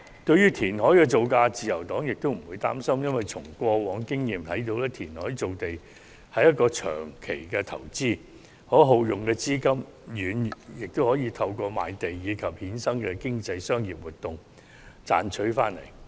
對於填海工程造價，自由黨亦不擔心，因為從過往經驗可發現填海造地是一項長期投資，所耗用的資金亦可透過賣地和衍生的經濟商業活動賺回來。